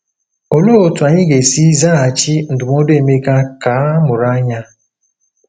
Olee otú anyị ga-esi zaghachi ndụmọdụ Emeka ka “ mụrụ anya”?